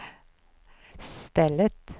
stället